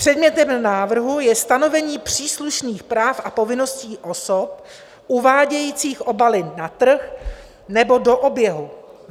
Předmětem návrhu je stanovení příslušných práv a povinností osob uvádějících obaly na trh nebo do oběhu.